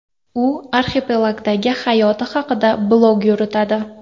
U arxipelagdagi hayoti haqida blog yuritadi.